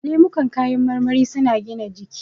Lemukan kayan marmari su na gina jiki